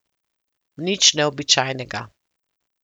Nič neobičajnega.